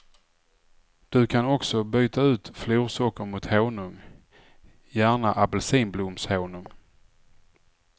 Du kan också byta ut florsocker mot honung, gärna apelsinblomshonung.